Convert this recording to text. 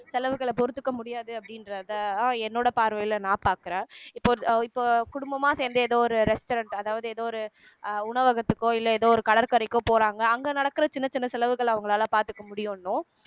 செலவுகளை பொறுத்துக்க முடியாது அப்படின்றத என்னோட பார்வையில நான் பாக்குறேன் இப்போ இப்போ குடும்பமா சேர்ந்து ஏதோ ஒரு restaurant அதாவது ஏதோ ஒரு உணவகத்துக்கோ இல்ல ஏதோ ஒரு கடற்கரைக்கோ போறாங்க அங்க நடக்குற சின்ன சின்ன செலவுகள அவங்களால பாத்துக்க முடியும்னும்